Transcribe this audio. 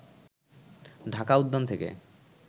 ঢাকা উদ্যান থেকে